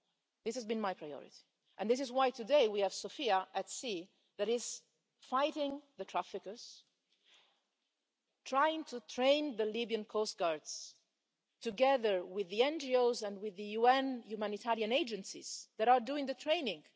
This has been my priority, and this is why today we have Sophia at sea that is fighting the traffickers, trying to train the Libyan coastguards, together with the NGOs and with the UN humanitarian agencies that are doing the training.